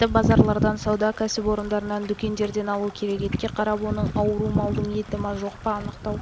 етті базарлардан сауда кәсіпорындарынан дүкендерден алу керек етке қарап оның ауру малдың етіма жоқ па анықтау